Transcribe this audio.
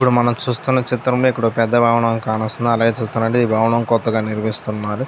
ఇప్పుడు మనం చూస్తున్న చిత్రంలో ఒక పెద్ద భవనం కానొస్తున్నది. అలాగే చుస్తే ఒక పెద్ద భవనం కొత్తగా నిర్మిస్తున్నారు --